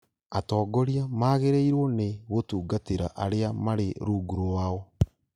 atongoria magĩrĩirwo nĩ gũtungatĩra arĩa marĩ rungu rwao